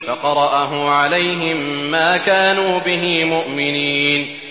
فَقَرَأَهُ عَلَيْهِم مَّا كَانُوا بِهِ مُؤْمِنِينَ